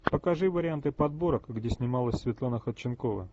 покажи варианты подборок где снималась светлана ходченкова